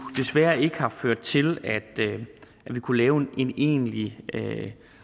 desværre ikke har ført til at vi kunne lave en egentlig